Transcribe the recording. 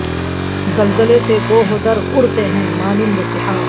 زلزلے سے کوہ و در اڑتے ہیں مانند سحاب